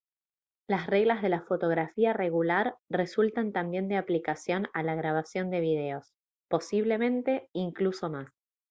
las reglas de la fotografía regular resultan también de aplicación a la grabación de videos posiblemente incluso más